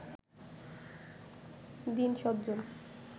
দীন সজ্জন